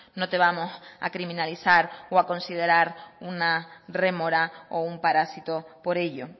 no te vamos a criminalizar o a considerar una rémora o un parasito por ello